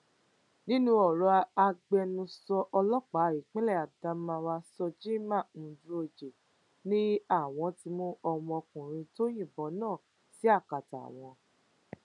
nínú ọrọ ẹ agbẹnusọ ọlọpàá ìpínlẹ adamawa shojiman nuroje ni àwọn ti mú ọmọkùnrin tó yìnbọn náà sí akátá àwọn